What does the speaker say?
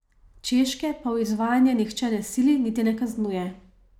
Češke pa v izvajanje nihče ne sili, niti ne kaznuje.